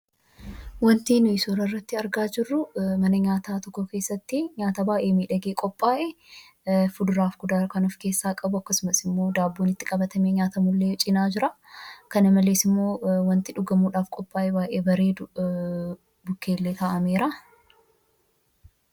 Suuraa kana irratti kan argamu mana keessatti nyaata bifa miidhagaa ta'een qophaa'ee kan jiru yammuu ta'u; kuduraa fi fuduraa kan of keessaa qabuu fi daabboo itti qabatanii nyaatan waliin kan Wal cina jiruu dha. Dabalataan wanti dhugamus cina isaatti ka'amee kan jiruu dha.